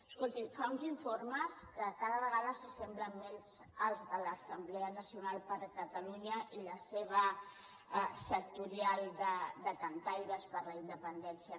escolti fa uns informes que cada vegada s’assemblen més als de l’assemblea nacional per catalunya i la seva sectorial de cantaires per la independència